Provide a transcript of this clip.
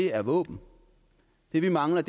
er våben det vi mangler